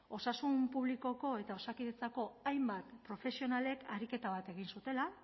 osasun publikoko eta osakidetzako hainbat profesionalek ariketa bat egin zutela